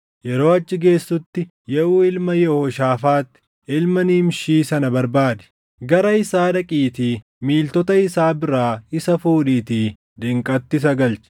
Yeroo achi geessutti Yehuu ilma Yehooshaafaax ilma Nimshii sana barbaadi. Gara isaa dhaqiitii miiltota isaa biraa isa fuudhiitii diinqatti isa galchi.